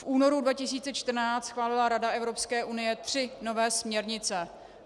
V únoru 2014 schválila Rada Evropské unie tři nové směrnice.